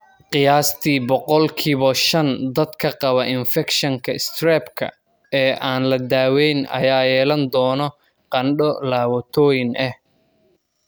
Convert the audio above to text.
Qiyaastii boqolki bo shan dadka qaba infakshanka strep-ka ee aan la daweyn ayaa yeelan doona qandho laabotooyin ah.